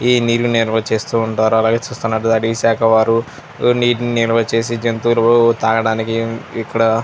ఈ నీళ్లు నిలువ చేస్తూ ఉంటారు అలాగే చూస్తుంటే ఈ శాఖ వాలు నీటిని నిలువ చేసి జంతువులూ తాగటానికి ఇక్కడ --